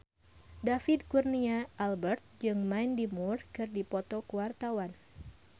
David Kurnia Albert jeung Mandy Moore keur dipoto ku wartawan